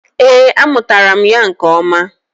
Ee, amụtara m ya nke ọma.